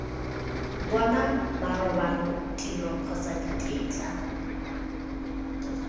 bona marobalo tiro kgotsa ditetla